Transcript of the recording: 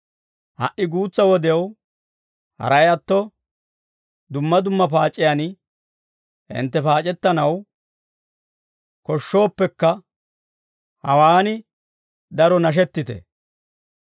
Ha"i guutsaa wodew haray atto dumma dumma paac'iyaan hintte paac'ettanaw koshshooppekka, hawaan daro nashettite.